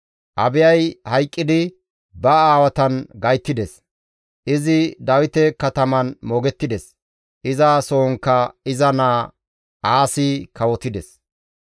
Abiyay hayqqidi ba aawatan gayttides; izi Dawite kataman moogettides. Iza sohonkka iza naa Aasi kawotides.